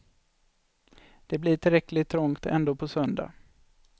Det blir tillräckligt trångt ändå på söndag.